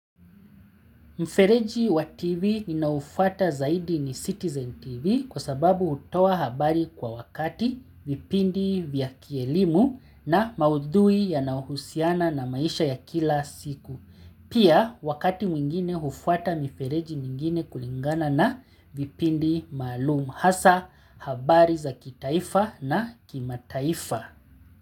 Mfereji wa TV ninaofuata zaidi ni Citizen TV kwa sababu hutoa habari kwa wakati vipindi vya kielimu na maudhui yanaohusiana na maisha ya kila siku. Pia wakati mwingine hufuata mifereji mingine kulingana na vipindi maalumu hasa habari za kitaifa na kimataifa.